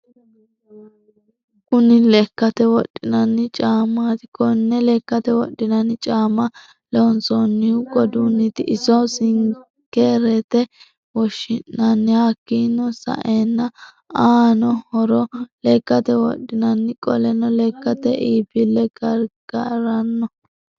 Kunni lekkate wodhinanni caamati. Konne lekkate wodhinanni caama loonsonihu qoduniti iso sinikerete woshinanni hakiino sa'eena aano horro lekkate wodhinanni qoleno lekkate iibile garigaranno